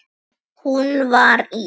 Hún var í